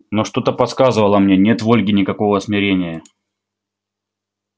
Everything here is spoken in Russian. но что-то подсказывало мне нет в ольге никакого смирения